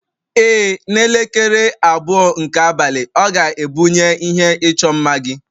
Ee, n'elekere abụọ nke abalị, ọ ga-ebunye ihe ịchọ mma gị